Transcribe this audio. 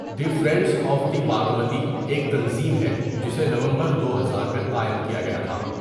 The Friends of the Bagmati ایک تنظیم ہے جسے نومبر دو ہزار میں قائم کیا گیا تھا۔